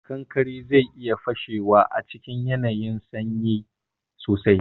Kankare zai iya fashewa a cikin yanayin sanyi sosai.